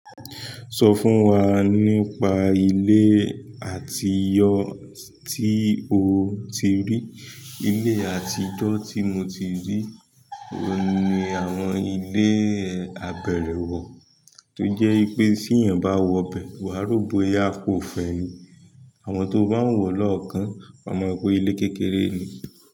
Sọ fún wa nípa ilé àtijọ́ tí o ti rí, ilé àtijọ́ tí mo tí rí òun ni àwọn ilé abẹrẹwọ tó jẹ wípé téèyàn bá wọ bẹ́ẹ̀ wa rò bóyá kò fẹ ni. Àmọ tó bá ń wo lọ́ọ̀kan, wa mo rò pé ilé kékeré ni.